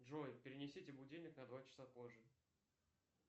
джой перенесите будильник на два часа позже